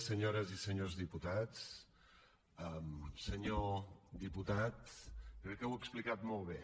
senyores senyors diputats senyor diputat crec que ho ha explicat molt bé